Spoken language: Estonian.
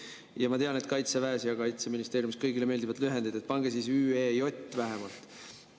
Jaa, ma tean, et Kaitseväes ja Kaitseministeeriumis kõigile meeldivad lühendid, aga pange siis ÜEJ vähemalt.